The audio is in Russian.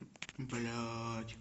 блядь